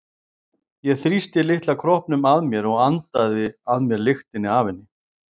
Ég þrýsti litla kroppnum að mér og andaði að mér lyktinni af henni.